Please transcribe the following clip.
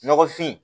Nɔgɔfin